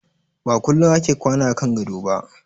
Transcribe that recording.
Ba kullum ake kwana a kan gado ba.